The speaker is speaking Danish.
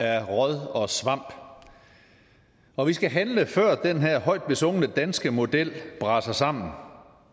af råd og svamp og vi skal handle før den her højt besungne danske model braser sammen og